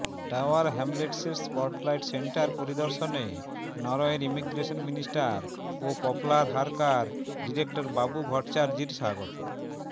tower হ্যামলেটসের spotlight centre পরিদর্শনে নরওয়ের ইমিগ্রেশন মিনিস্টার ও পপলার হারকার ডিরেক্টর বাবু ভট্টাচার্যির স্বাগত